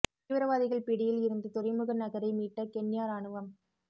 தீவிரவாதிகள் பிடியில் இருந்த துறைமுக நகரை மீட்ட கென்யா ராணுவம்